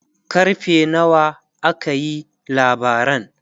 karfe nawa aka yi labaran?